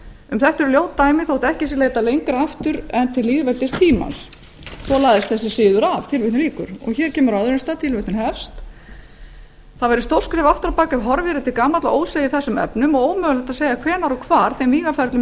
um þetta eru ljót dæmi þótt ekki sé leitað lengra aftur en til lýðveldistímans svo lagðist þessi siður af á öðrum stað segir það væri stórt skref aftur á bak ef horfið yrði til gamalla ósiða í þessum efnum og ómögulegt að segja hvenær og hvar þeim vígaferlum